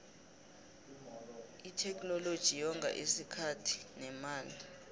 itheknoloji yonga isikhathi nemali